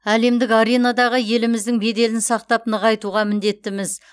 әлемдік аренадағы еліміздің беделін сақтап нығайтуға міндеттіміз